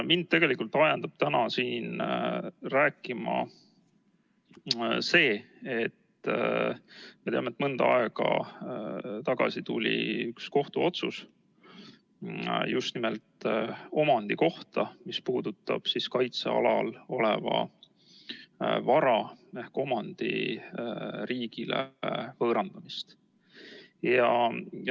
Mind ajendab täna siin rääkima see, et mõnda aega tagasi tuli üks kohtuotsus just nimelt omandi kohta ja see puudutab kaitsealal oleva vara ehk omandi riigile võõrandamist.